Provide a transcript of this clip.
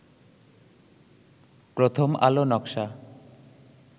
প্রথম আলো নকশা